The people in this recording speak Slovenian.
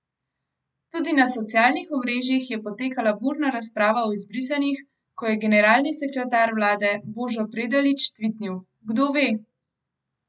Tudi na socialnih omrežjih je potekala burna razprava o izbrisanih, ko je generalni sekretar vlade Božo Predalič tvitnil: 'Kdo ve?